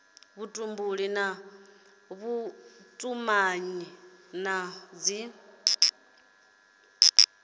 vhutumbuli na vhutumanyi na dzi